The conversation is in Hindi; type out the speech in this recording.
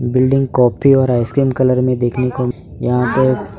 बिल्डिंग काफी और आइसक्रीम कलर में देखने को यहां पे --